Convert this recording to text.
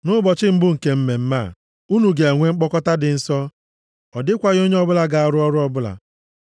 Nʼụbọchị mbụ nke mmemme a, unu ga-enwe mkpọkọta dị nsọ, ọ dịkwaghị onye ọbụla ga-arụ ọrụ ọbụla.